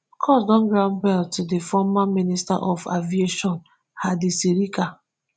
court don grant bail to di former minister for aviation hadi sirika